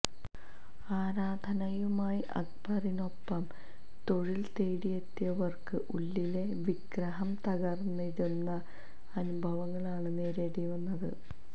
ആരാധനുമായി അക്ബറിനൊപ്പം തൊഴില് തേടിയെത്തിയവര്ക്ക് ഉള്ളിലെ വിഗ്രഹം തകര്ന്നടിയുന്ന അനുഭവങ്ങളാണ് നേരിടേണ്ടിവന്നത്